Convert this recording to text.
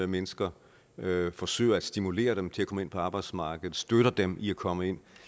mennesker forsøger at stimulere dem til at komme ind på arbejdsmarkedet støtter dem i at komme ind og